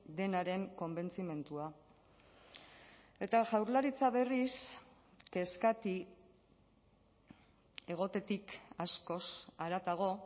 denaren konbentzimendua eta jaurlaritza berriz kezkati egotetik askoz haratago